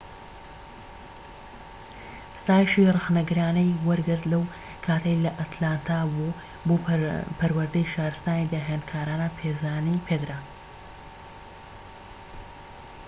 ستایشی ڕەخنەگرانەی وەرگرت لەو کاتەی لە ئەتلانتا بوو بۆ پەروەردەی شارستانی داهێنانکارانە پێزانی پێدرا